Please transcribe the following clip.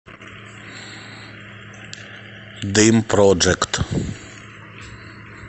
дым проджект